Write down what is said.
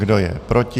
Kdo je proti?